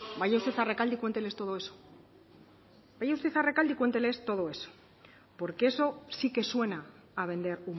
vaya usted a rekalde y cuénteles todo eso vaya usted a rekalde y cuénteles todo eso porque eso sí que suena a vender